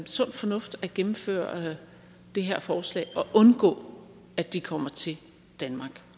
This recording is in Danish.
sund fornuft at gennemføre det her forslag og undgå at de kommer til danmark